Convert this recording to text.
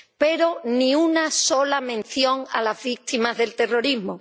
Pero ni una sola mención a las víctimas del terrorismo.